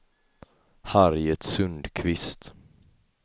Harriet Sundqvist